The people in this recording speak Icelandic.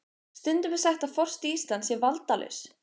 Stundum er sagt að forseti Íslands sé valdalaus.